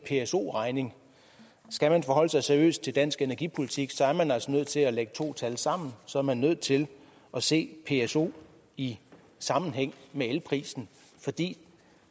pso regning skal man forholde sig seriøst til dansk energipolitik er man altså nødt til at lægge to tal sammen så er man nødt til at se pso i sammenhæng med elprisen fordi